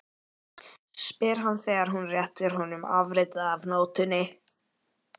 spyr hann þegar hún réttir honum afritið af nótunni.